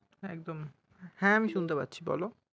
একদম হ্যা আমি শুনতে পাচ্ছি বলো।